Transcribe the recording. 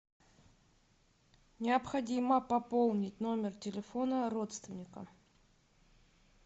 необходимо пополнить номер телефона родственника